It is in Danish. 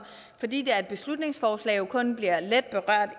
fordi det er et beslutningsforslag jo kun bliver lidt berørt